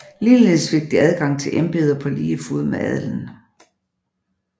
Ligeledes fik de adgang til embeder på lige fod med adelen